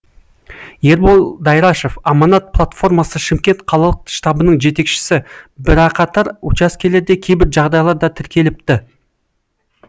ербол дайрашов аманат платформасы шымкент қалалық штабының жетекшісі бірақатар учаскелерде кейбір жағдайлар да тіркеліпті